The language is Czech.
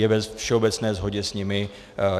Je ve všeobecné shodě s nimi.